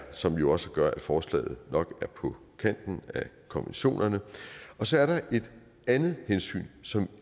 som jo også gør at forslaget nok er på kanten af konventionerne så er der et andet hensyn som